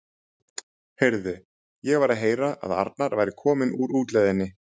Heyrðu, ég var að heyra að Arnar væri kominn úr útlegðinni.